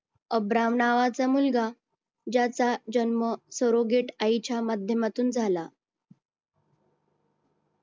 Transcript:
Abraham नावाचा मुलगा ज्याचा जन्म सरोगेट आईच्या माध्यमातून झाला.